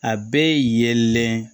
A bɛɛ ye yelen